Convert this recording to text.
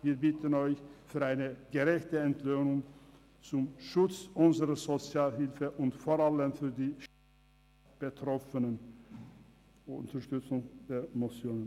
Wir bitten Sie um eine gerechte Entlöhnung zum Schutz unserer Sozialhilfe und vor allem für die Stärkung der Betroffenen sowie um die Unterstützung der Motionen.